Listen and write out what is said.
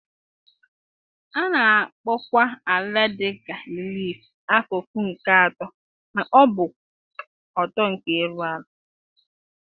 A na-akpọkwa ala dị ka relief - akụkụ nke atọ ma ọ bụ kwụ ọtọ nkè élú àlà.